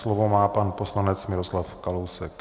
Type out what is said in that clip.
Slovo má pan poslanec Miroslav Kalousek.